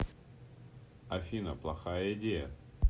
афина плохая идея